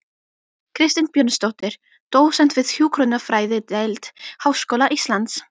Kristín Björnsdóttir, dósent við hjúkrunarfræðideild Háskóla Íslands